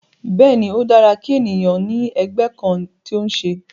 Bẹ́ẹ̀ ni, ó dára kí ènìyàn ó ní ẹgbẹ́ kan tó ń ṣe